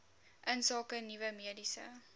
insake nuwe mediese